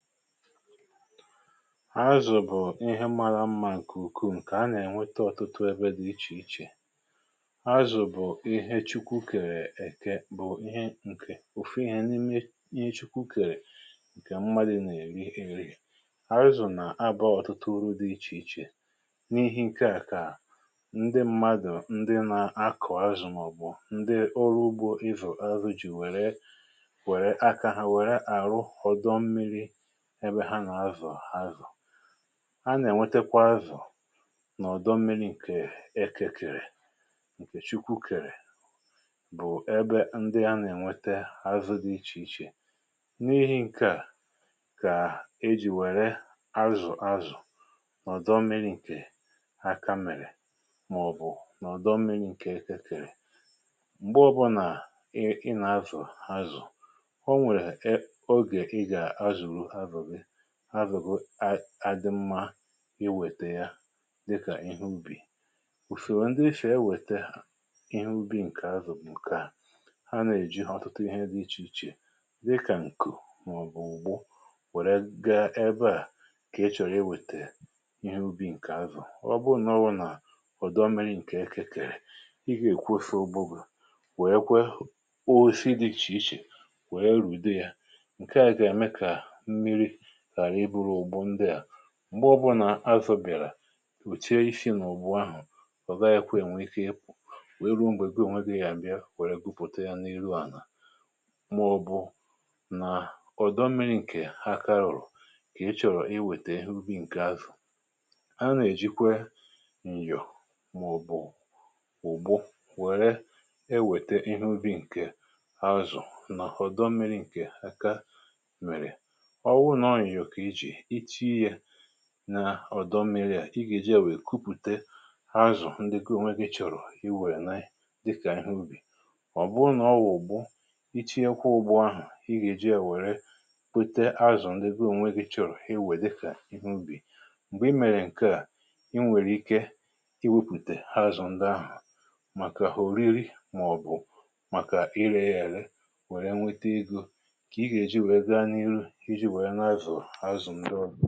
Azù bụ̀ ihe mara mmȧ ǹkè ukwuu, nkè a nà-ènweta ọ̀tụtụ ebe dị̇ ichè ichè. Azù bụ̀ ihe Chukwu kèrè èke bụ̀ ihe ǹkè, ofu ihe n’ime ihe Chukwu kèrè, ǹkè mmadụ̀ nà-èri èri. Azù nà abȧ ọ̀tụtụ uru dị ichè ichè. N’ihe ǹkè à kà ndị mmadù, ndị na-akọ̀ azù màọ̀bụ̀ ndị ọrụ ugbȯ, ɪ́vʊ̀ áru̇, jì wère wère akȧ hà, wère àrụ họdọ mmiri ebe hana azụ̀ azu. A nà-ènwetekwa azụ̀ nà ọ̀dọ mmiri̇ ǹkè ekėkèrè, ǹkè Chukwu kèrè; bụ̀ ebe ndị a nà-ènwete azụ̇ dị ichè ichè. N’ihi̇ ǹkè à kà e jì wère azụ̀ azù nà ọ̀dọ mmiri̇ ǹkè aka mèrè, màọ̀bụ̀ nà ọ̀dọ mmiri̇ ǹkè ekėkèrè. M̀gbe ọbụ̇nà ị nà-azụ̀ azụ̀, ọ̀ nwere oge ị ga-zuru azụ gị, azụ gị adị mmȧ iwète ya dịkà ihe ubì. Usòro ndị ifèe wète ha ihe ubì nkè azụ̀ ǹkè à; ha nè-èji họ̇tụta ihe dị ichè ichè, dịkà ǹkụ̀ màọ̀bụ̀ ùgbo, wère gaa ebe à kà e chọ̀rọ̀ ihe ubì ǹkè azụ̀. Ọ bụ n’ọbụ nà ọ̀dọ mmi̇ri̇ ǹkè eke kèrè. Ị gà èkwu ose ogbu bụ̀ wèe kwe o si dị̇ ichè ichè, wèe rùde ya.nke a ga eme ka mmiri ghara ị bụrụ ụgbọ ndị a. M̀gbe ọbụnà azụ̀ bìàrà, ùche isi nà òbù ahụ̀, ọ̀ gaghị kwe nwee ike ikpò; nwee ruo m̀gbè gi onwe gị, ga à bịa, wère gwupùte ya n’ihu à nà. Ma ọ̀bụ nà ọ̀dọ mmiri ǹkè aka ụ̀rụ̀. Kà ị chọ̀rọ̀ iwètè ihe ubi ǹkè azụ̀. A nà-èjikwe ǹyọ̀ màọ̀bụ̀ ụ̀bụ, wère ewète ihe ubi̇ ǹkè azụ̀ nà ọ̀dọ mmiri ǹkè aka mèrè. Ọ bụ na ọ nyo ga iji. Itinye ya na-ọdọ mmiri à, i gà-èji à wèe kupùte hazù ndị gi ọ̀ nweghi chọrọ i wèe nayị dịkà ihe ubì. Ọ̀ bụrụ nà ọwụ̀ n'ubu, i chi ye ekwọ ụbụ ahụ̀, i gà-èji à wèrè kupùte hazù ndị goo. Ọ nwėghi chọrọ i wèe dịkà ihe ubì. M̀gbè i mèrè ǹkè à, i nwèrè ike i wepùte ha azụ̀ ndị ahụ̀ màkà hùriri màọ̀bụ̀ màkà ire yà ere, wèrè nwete egȯ, kà i gà-èji wèe gaa n’iru iji wèe na-azụ̀ọ àzụ̀ ndù ọ.